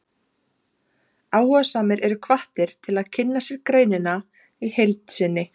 Áhugasamir eru hvattir til að kynna sér greinina í heild sinni.